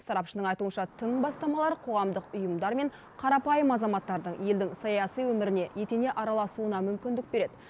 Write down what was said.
сарапшының айтуынша тың бастамалар қоғамдық ұйымдар мен қарапайым азаматтардың елдің саяси өміріне етене араласуына мүмкіндік береді